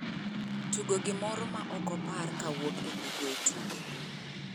tugo gimoro ma ok opar kowuok e google tugo